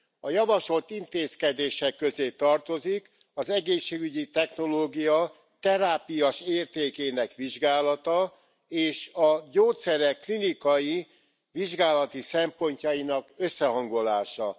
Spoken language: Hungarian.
A javasolt intézkedések közé tartozik az egészségügyi technológia terápiás értékének vizsgálata és a gyógyszerek klinikai vizsgálati szempontjainak összehangolása.